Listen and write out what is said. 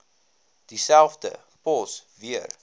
dieselfde pos weer